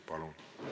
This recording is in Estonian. Palun!